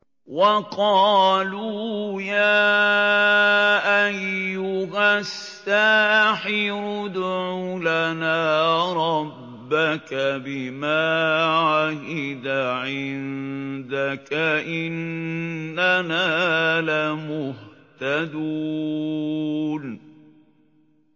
وَقَالُوا يَا أَيُّهَ السَّاحِرُ ادْعُ لَنَا رَبَّكَ بِمَا عَهِدَ عِندَكَ إِنَّنَا لَمُهْتَدُونَ